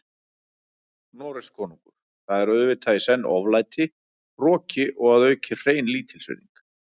Noregskonungur, það er auðvitað í senn oflæti, hroki og að auki hrein lítilsvirðing.